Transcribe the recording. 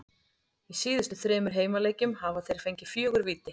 Í síðustu þremur heimaleikjum hafa þeir fengið fjögur víti.